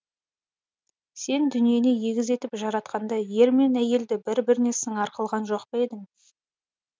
сен дүниені егіз етіп жаратқанда ер мен әйелді бір біріне сыңар қылған жоқ па едің